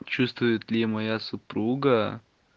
чувствует ли моя супруга